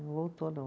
Não voltou, não.